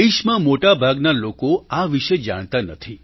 દેશમાં મોટા ભાગના લોકો આ વિશે જાણતા નથી